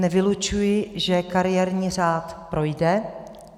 Nevylučuji, že kariérní řád projde.